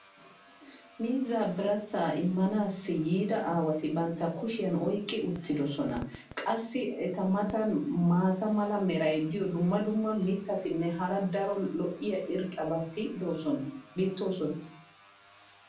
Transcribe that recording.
miizzaa birassaa immisanaassi yiida aawati bantta kushiyan oyqqi uttidosona. qassi eta matan maata mala meray diyo dumma dumma mitatinne hara daro lo'iya irxxabati beetoosona.